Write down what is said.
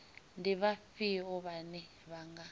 ndi vhafhio vhane vha nga